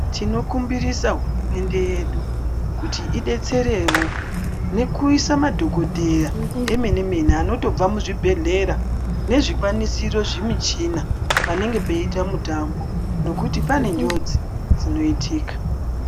Tinokumbirisa hurumende yedu kuti ibetserewo nekuisa madhokoteya emene mene anotobva muzvi bhehlera nezvikwanisiro zvemishina panenge peita mitambo nekuti pane njodzi dzinoitika.